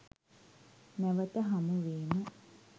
නැවත හමු වීම